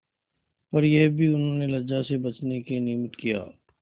पर यह भी उन्होंने लज्जा से बचने के निमित्त किया